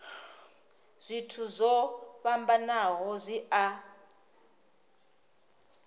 zwithu zwo fhambanaho zwi a